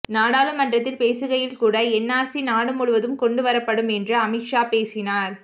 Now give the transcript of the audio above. நாடாளுமனறத்தில் பேசுகையில் கூட என்ஆர்சி நாடு முழுவதும் கொண்டுவரப்படும் என்று அமித் ஷா பேசினார்